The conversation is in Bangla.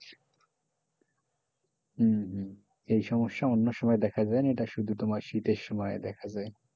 হম হম এই সমস্যাটা অন্য সময় দেখা যায় না এটা শুধু শীতের সময় দেখা যায়,